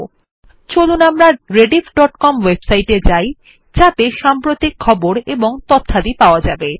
এখন উদাহরণস্বরূপ চলুন আমরা rediffকম ওয়েবসাইট এ যাই যাতে সাম্প্রতিক খবর ও তথ্যাদি পাওয়া যাবে